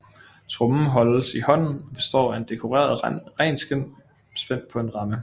Trommen holdes i hånden og består af et dekoreret renskind spændt på en ramme